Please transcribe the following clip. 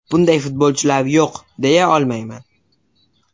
Bunday futbolchilar yo‘q, deya olmayman.